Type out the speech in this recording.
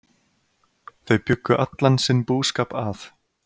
Þau bjuggu allan sinn búskap að